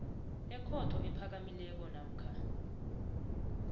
ekhotho ephakamileko namkha